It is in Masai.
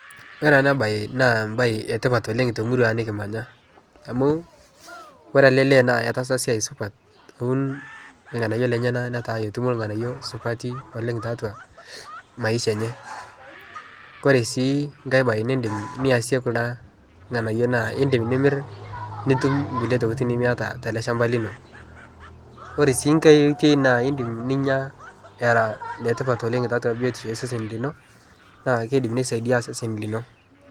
Kore ana baye naa baye etipat oleng' temurua nikimanya amu kore ale lee naa etaasa siai supat aun lng'anayo lenyana netaa etumo lng'anayo supati oleng' taatwa maisha enye, kore sii nkae baye nindim niase kuna lng'anayo naa indim nimir nitum nkule tokitin nimiyata tale shamba lino. Ore sii nkae oitoi naa indim ninya era letipat oleng' taatwa biotisho esesen lino naa keidim.